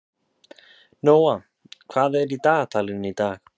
Nóa, hvað er í dagatalinu í dag?